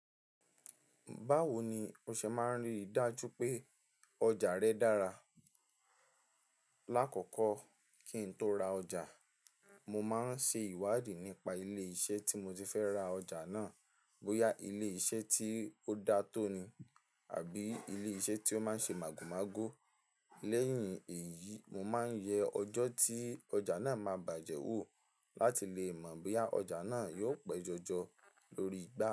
Báwo ni o ṣe máa ń rí i dájú pé ọjà rẹ dára? Láàkókò kí n tó ra ọjà, mo máa ń ṣe ìwádìí nípa ilé-iṣẹ́ tí mo ti fẹ́ ra ọjà náà, bóyá ilé-iṣẹ́ tí ó dá tò ni àbí ilé-iṣẹ́ tí ó máa ń ṣe màgòmágó. Lẹ́yìn èyí, mo máa ń yẹ ọjọ́ tí ọjà náà máa bàjẹ́ wò láti lè mọ boya ọjà náà yóò pẹ́ jọjọ lórí igbá.